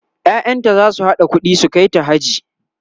ƴaƴanta zasu haɗa ƙuɗi su kaita haji